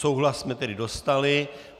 Souhlas jsme tedy dostali.